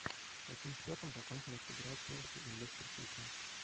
с каким счетом закончилась игра челси и лестер сити